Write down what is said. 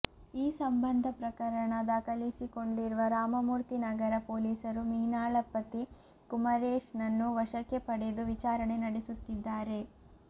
ಈ ಸಂಬಂಧ ಪ್ರಕರಣ ದಾಖಲಿಸಿಕೊಂಡಿರುವ ರಾಮಮೂರ್ತಿ ನಗರ ಪೊಲೀಸರು ಮೀನಾಳ ಪತಿ ಕುಮಾರೇಶ್ ನನ್ನು ವಶಕ್ಕೆ ಪಡೆದು ವಿಚಾರಣೆ ನಡೆಸುತ್ತಿದ್ದಾರೆ